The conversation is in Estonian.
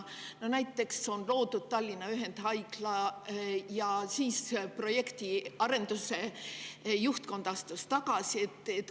Näiteks loodi Tallinna ühendhaigla ja siis projekti arenduse juhtkond astus tagasi.